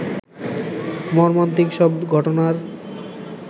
মর্মান্তিক সব ঘটনার